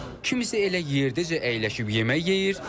Kimisə elə yerdəcə əyləşib yemək yeyir.